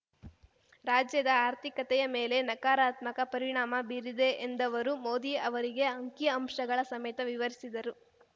ರಾಜ್ಯದ ಆರ್ಥಿಕತೆಯ ಮೇಲೆ ನಕಾರಾತ್ಮಕ ಪರಿಣಾಮ ಬೀರಿದೆ ಎಂದವರು ಮೋದಿ ಅವರಿಗೆ ಅಂಕಿ ಅಂಶಗಳ ಸಮೇತ ವಿವರಿಸಿದರು